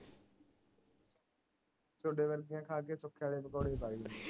ਤੁਹਾਡੇ ਵਰਗੀਆਂ ਖਾ ਕੀ ਵਾਲੇ ਪਕੌੜੇ